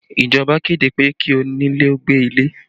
Ìjọba kéde pé kí onílé ó gbé ilé